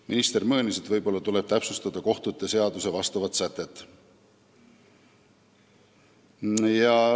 Minister möönis, et võib-olla tuleb täpsustada kohtute seaduse vastavat sätet.